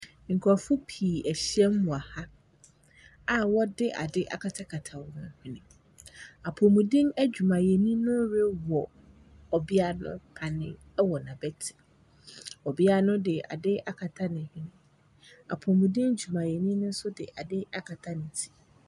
Nkurɔfoɔ pii ahyia mu wɔ ha a wɔde adeɛ akatakata wɔn hwene. Apɔmuden adwumayɛni no rewɔ ɔbea no panneɛ wɔ n'abati. Ɔbea no de ade akata ne hwene. Apɔmuden adwumayɛni no nso de ade akata ne ti.